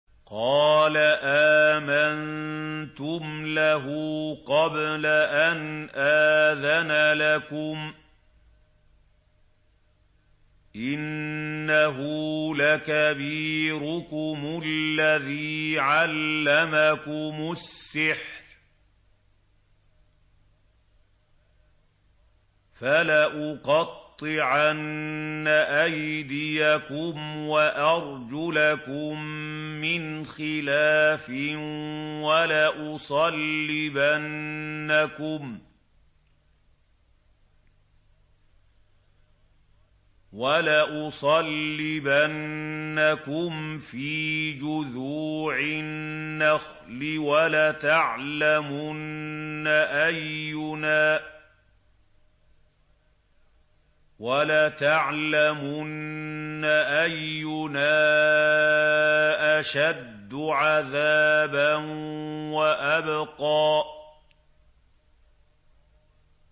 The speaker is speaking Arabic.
قَالَ آمَنتُمْ لَهُ قَبْلَ أَنْ آذَنَ لَكُمْ ۖ إِنَّهُ لَكَبِيرُكُمُ الَّذِي عَلَّمَكُمُ السِّحْرَ ۖ فَلَأُقَطِّعَنَّ أَيْدِيَكُمْ وَأَرْجُلَكُم مِّنْ خِلَافٍ وَلَأُصَلِّبَنَّكُمْ فِي جُذُوعِ النَّخْلِ وَلَتَعْلَمُنَّ أَيُّنَا أَشَدُّ عَذَابًا وَأَبْقَىٰ